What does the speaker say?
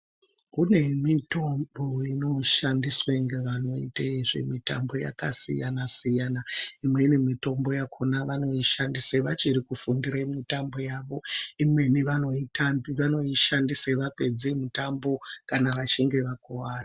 Kune mitombo inoshandiswa nevanoita nezvemitambo yakasiyana siyana imweni mitombo yakona wanoishandisa wachiri kufundire mitombo yakona imweni wanoishandisa wapedza mitambo kana wachinge wakuwara.